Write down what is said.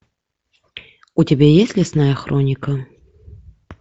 у тебя есть лесная хроника